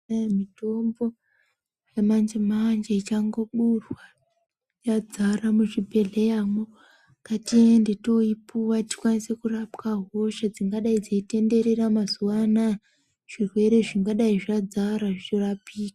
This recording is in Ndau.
Kwai mitombo yamanji manji ichangoburwa yadzara muzvibhedhleyamwo, ngatiende toipiwa tikwanise kurapa hosha dzingadai dzechitenderera mazuwa anaya, zvirwere zvingadayi zvadzara zvirapike.